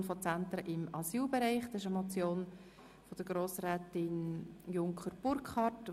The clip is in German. Wir kommen zur Motion von Grossrätin Junker Burkhard.